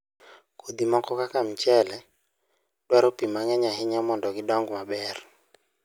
Kodhi moko kaka mchele, dwaro pi mang'eny ahinya mondo gidong maber.